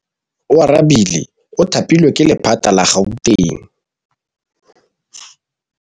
Oarabile o thapilwe ke lephata la Gauteng.